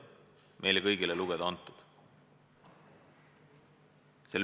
See otsus on meile kõigile lugeda antud.